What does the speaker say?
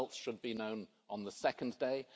The results should be known on the second day.